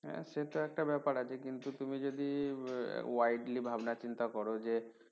হ্যাঁ সেটা একটা ব্যাপার আছে কিন্তু তুমি যদি widely ভাবনা চিন্তা করো যে